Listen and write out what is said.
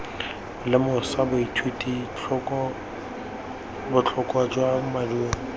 lemosa baithuti botlhokwa jwa maduo